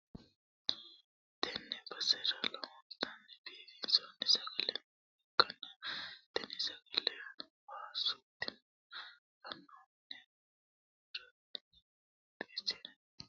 Tenne basera lowontanni biiffanno sagale nooha ikkanna, tini sagaleno waasu tima gannoonniha adotenni qixxeessi'ne shiqqinshoonniha ikkanna, ani umi'ya woy itolla yee halchoommo.